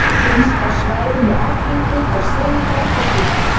Finnst á svæðum í Afríku frá Senegal til Súdan.